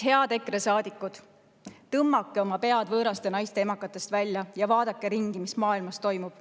Head EKRE saadikud, tõmmake oma pead võõraste naiste emakatest välja ja vaadake ringi, mis maailmas toimub.